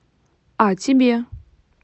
а тебе